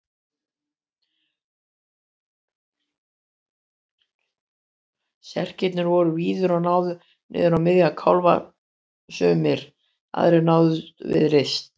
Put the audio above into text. Serkirnir voru víðir og náðu niður á miðja kálfa sumir, aðrir námu við rist.